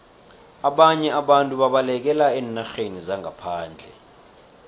ababnye abantu babalekela eenarheni zangaphandle